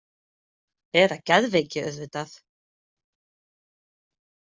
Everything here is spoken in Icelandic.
Eða geðveiki auðvitað.